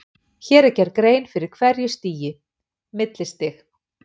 Hér er gerð grein fyrir hverju stigi: Millistig.